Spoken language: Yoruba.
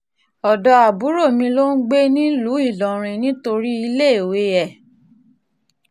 ọ̀dọ́ àbúrò mi ló ń gbé nílùú ilorin nítorí iléèwé ẹ̀